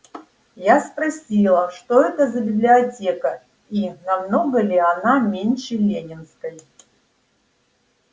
я спросила что это за библиотека и намного ли она меньше ленинской